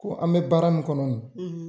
Ko an bɛ baara min kɔnɔ